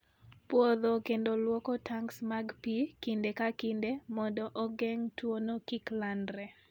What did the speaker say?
Pwodho kendo lwoko tanks mag pi kinde ka kinde mondo ogeng' tuwono kik landre.